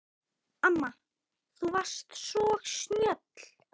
Amma þú varst svo snjöll.